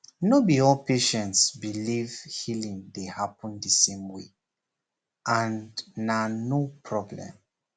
no be all patients believe healing dey happen the same way and na no problem